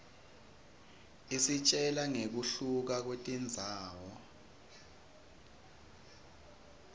isitjela nqekuhluka kwetindzawo